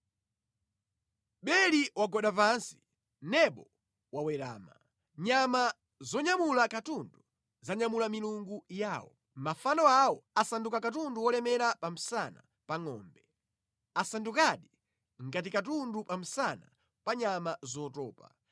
Beli wagwada pansi, Nebo wawerama; nyama zonyamula katundu za nyamula milungu yawo. Mafano awo asanduka katundu wolemera pa msana pa ngʼombe. Asandukadi ngati katundu pa msana pa nyama zotopa.